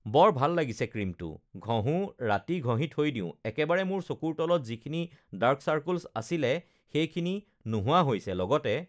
বৰ ভাল লাগিছে ক্ৰীমটো, ঘহোঁ, ৰাতি ঘহি থৈ দিওঁ, একেবাৰে মোৰ চকুৰ তলত যিখিনি ডাৰ্ক চাৰ্কলছ আছিলে, সেইখিনি নোহোৱা হৈছে, লগতে